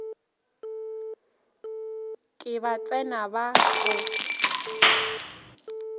ke ba tsena ba o